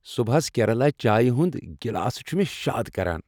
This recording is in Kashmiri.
صبحس کیرلا چایہ ہنٛد گلاسہٕ چُھ مےٚ شاد کران۔